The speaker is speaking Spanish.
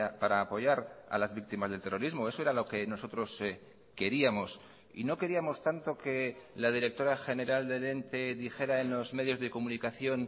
para apoyar a las víctimas del terrorismo eso era lo que nosotros queríamos y no queríamos tanto que la directora general del ente dijera en los medios de comunicación